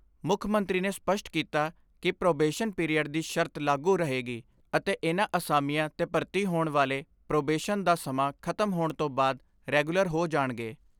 ਮੁੱਖ ਮੰਤਰੀ ਨੇ ਸਪੱਸ਼ਟ ਕੀਤਾ ਕਿ ਪ੍ਰੋਬੇਸ਼ਨ ਪੀਰੀਅਡ ਦੀ ਸ਼ਰਤ ਲਾਗੂ ਰਹੇਗੀ ਅਤੇ ਇਨ੍ਹਾਂ ਅਸਾਮੀਆਂ ਤੇ ਭਰਤੀ ਹੋਣ ਵਾਲੇ ਪ੍ਰੋਬੇਸ਼ਨ ਦਾ ਸਮਾਂ ਖਤਮ ਹੋਣ ਤੋਂ ਬਾਅਦ ਰੈਗੂਲਰ ਹੋ ਜਾਣਗੇ।